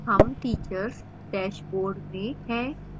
हम teachers dashboard में हैं